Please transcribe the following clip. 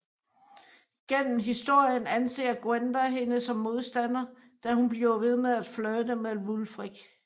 Gennem historien anser Gwenda hende som modstander da hun bliver ved med at flirte med Wulfric